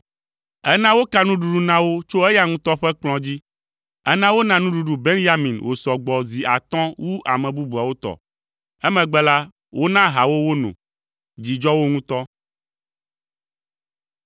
Ena woka nuɖuɖu na wo tso eya ŋutɔ ƒe kplɔ̃ dzi. Ena wona nuɖuɖu Benyamin wòsɔ gbɔ zi atɔ̃ wu ame bubuawo tɔ. Emegbe la, wona aha wo wono. Dzi dzɔ wo ŋutɔ.